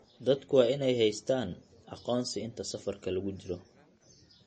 Dadku waa inay haystaan ??aqoonsi inta safarka lagu jiro.